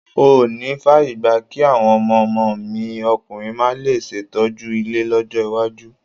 N ò níí fààyè gba kí àwọn ọmọ ọmọ mi ọkùnrin máa le ṣètọ́jú ilé lọ́jọ́ iwájú.